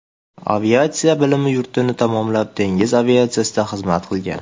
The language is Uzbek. Aviatsiya bilim yurtini tamomlab, dengiz aviatsiyasida xizmat qilgan.